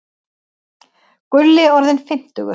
Gulli orðinn fimmtugur.